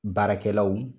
Baarakɛlaw